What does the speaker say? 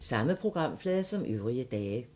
Samme programflade som øvrige dage